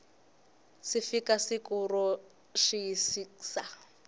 si fika siku ro xiyisisa